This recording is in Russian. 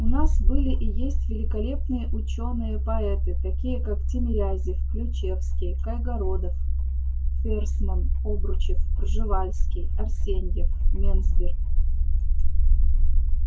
у нас были и есть великолепные учёные-поэты такие как тимирязев ключевский кайгородов ферсман обручев пржевальский арсеньев мензбир